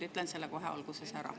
Ütlen selle kohe alguses ära.